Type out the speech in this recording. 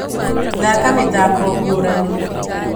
Thaka mĩthako ngũrani